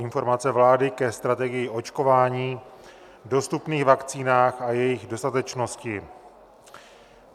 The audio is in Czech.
Informace vlády ke strategii očkování, dostupných vakcínách a jejich dostatečnosti